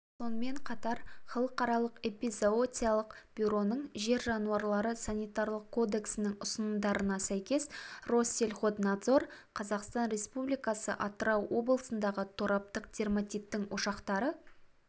сонымен қатар халықаралық эпизоотиялық бюроның жер жануарлары санитарлық кодексінің ұсынымдарына сәйкес россельхознадзор қазақстан республикасы атырау облысындағы тораптық дерматиттің ошақтары